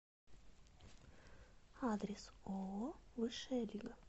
адрес ооо высшая лига